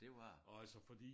Det var det